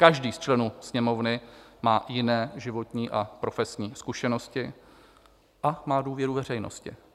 Každý z členů Sněmovny má jiné životní a profesní zkušenosti a má důvěru veřejnosti.